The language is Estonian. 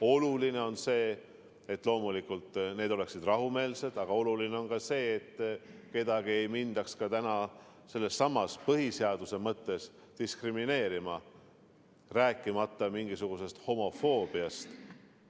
Oluline on, et see kõik oleks rahumeelne, aga oluline on ka see, et kedagi ei mindaks põhiseaduse mõttes diskrimineerima, rääkimata mingisugusest homofoobiast.